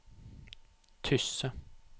Tysse